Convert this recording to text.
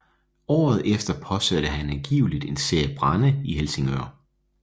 Året efter påsatte han angiveligt en serie brande i Helsingør